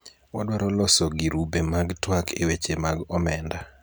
wadwaro loso girube mag twak e weche mag omenda